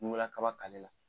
Ɲugulakaba k'ale la